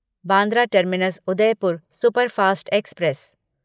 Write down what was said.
Bandra terminus Udaipur superfast express